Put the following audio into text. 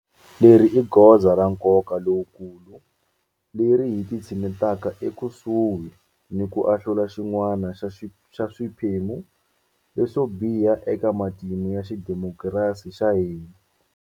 Leri i goza ra nkoka lowukulu leri hi ti tshinetaka ekusuhi ni ku ahlula xin'wana xa swiphemu leswo biha eka matimu ya xidemokirasi xa hina.